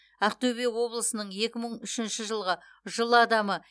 ақтөбе облысының екі мың үшінші жылғы жыл адамы